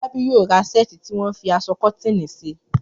Fọlábí yóò ra ṣẹ́ẹ̀tì tí wọ́n fi aṣọ kọ́tíìnì ṣe.